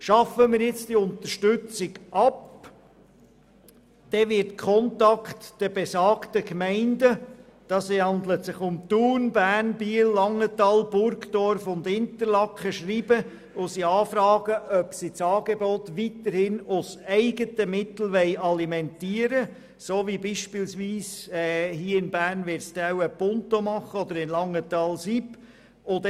Schaffen wir jetzt diese Unterstützung ab, wird Contact die besagten Gemeinden – es handelt sich um die Thun, Bern, Biel, Langenthal, Burgdorf und Interlaken – anschreiben und sie anfragen, ob sie das Angebot weiterhin aus eigenen Mitteln alimentieren wollen, so wie dies in Bern wahrscheinlich vom Projekt für Prävention, Intervention und Toleranz in der Stadt Bern (Pinto) oder in Langenthal von Sicherheit-Intervention-Prävention (SIP) gemacht wird.